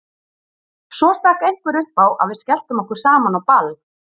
Svo stakk einhver upp á að við skelltum okkur saman á ball.